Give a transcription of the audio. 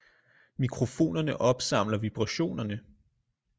Mikrofonerne opsamler vibrationerne